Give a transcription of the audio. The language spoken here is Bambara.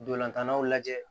Dolantannaw lajɛ